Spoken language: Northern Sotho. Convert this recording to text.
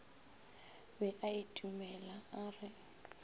be a itumela a re